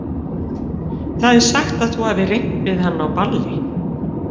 Það er sagt að þú hafir reynt við hann á balli.